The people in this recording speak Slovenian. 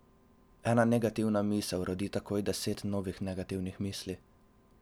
Ena negativna misel rodi takoj deset novih negativnih misli.